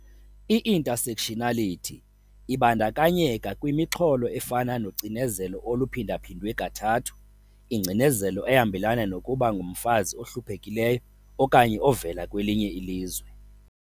I-Intersectionality ibandakanyeka kwimixholo efana nocinezelo oluphindaphindwe kathathu, ingcinezelo ehambelana nokuba ngumfazi ohluphekileyo okanye ovela kwelinye ilizwe.